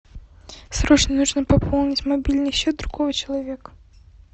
срочно нужно пополнить мобильный счет другого человека